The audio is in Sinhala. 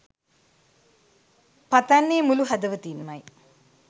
පතන්නේ මුලු හදවතින්මයි